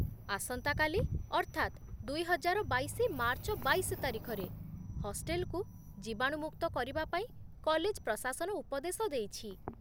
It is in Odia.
ଆସନ୍ତା କାଲି, ଅର୍ଥାତ୍ ଦୁଇହଜାରବାଇଶ ମାର୍ଚ୍ଚ ବାଇଶ ତାରିଖରେ, ହଷ୍ଟେଲ୍‌କୁ ଜୀବାଣୁମୁକ୍ତ କରିବାପାଇଁ କଲେଜ୍ ପ୍ରଶାସନ ଉପଦେଶ ଦେଇଛି